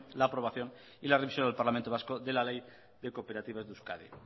la aprobación y la remisión del parlamento vasco de la ley de cooperativas de euskadi